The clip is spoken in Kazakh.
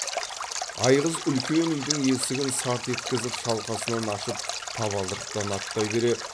айғыз үлкен үйдің есігін сарт еткізіп шалқасынан ашып табалдырықтан аттай бере